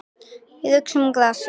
Og uxum úr grasi.